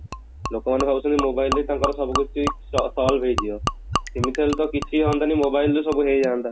ଲୋକ ମାନେ ଭାବୁଛନ୍ତି mobile ରେ ତାଙ୍କର ସବୁ କିଛି ସ solve ହେଇଯିବା ସେମିତି ହେଲେ ତ କିଛି ହୁଆନ୍ତାନି mobile ରେ ସବୁ ହେଇଯାଆନ୍ତା